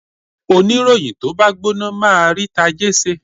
Oníròyìn tó bá gbóná máa rí tajé ṣe.